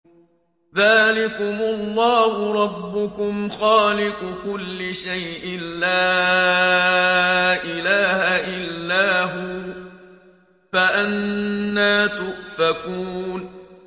ذَٰلِكُمُ اللَّهُ رَبُّكُمْ خَالِقُ كُلِّ شَيْءٍ لَّا إِلَٰهَ إِلَّا هُوَ ۖ فَأَنَّىٰ تُؤْفَكُونَ